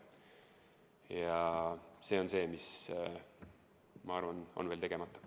Ja see on see, mis minu arvates on veel tegemata.